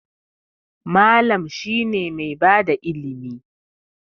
Mallam shine mai bada ilimi.